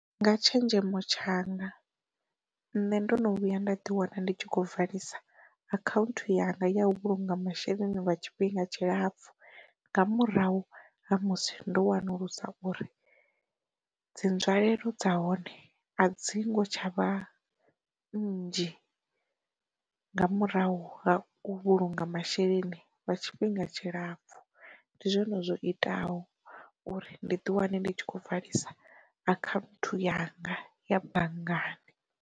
Nga tshenzhemo tshanga, nṋe ndo no vhuya nda ḓi wana ndi tshi kho valisa akhaunthu yanga ya u vhulunga masheleni lwa tshifhinga tshilapfu, nga murahu ha musi ndo wanulusa uri, dzi nzwalelo dza hone a dzingo tshavha nnzhi nga murahu ha u vhulunga masheleni lwa tshifhinga tshilapfu ndi zwone zwo iteaho uri ndi ḓi wane ndi tshi kho valisa akhanthu yanga ya banngani.